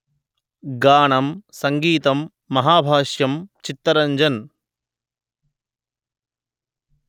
గానం/సంగీతం మహాభాష్యం చిత్తరంజన్